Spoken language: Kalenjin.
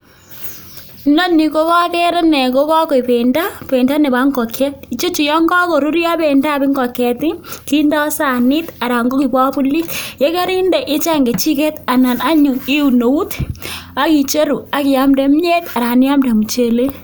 Inoni koger ane ko kagoik bendo, bendo nebo ngokiet. Icheju yon kagoruryo bendab ngokiet kindo sanit anan ko kibokulit, ye korinde icheng kechiget anan anyun iun eut ak icheru ak iamde kimyet anan iamde muchelek.